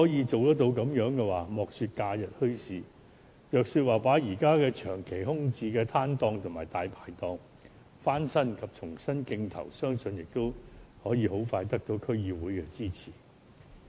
這樣的話，莫說假日墟市，即使把現時長期空置的攤檔和"大牌檔"翻新及重新競投，相信也會得到區議會的支持。